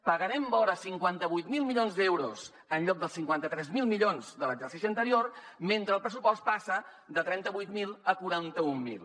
pagarem vora cinquanta vuit mil milions d’euros en lloc dels cinquanta tres mil milions de l’exercici anterior mentre el pressupost passa de trenta vuit mil a quaranta mil